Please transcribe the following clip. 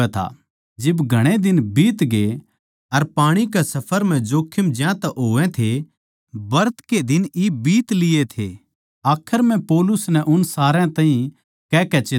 जिब घणे दिन बीतग्ये अर पाणी कै सफर म्ह जोख्खम ज्यांतै होवै थी ब्रत के दिन इब बीत लिये थे आखर म्ह पौलुस नै उन सारया ताहीं कहकै चेतावनी दी